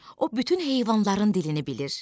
O bütün heyvanların dilini bilir.